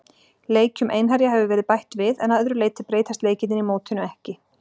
Leikjum Einherja hefur verið bætt við, en að öðru leyti breytast leikirnir í mótinu ekki.